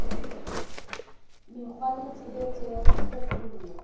mekgwa le tshebetso tsa hlophollo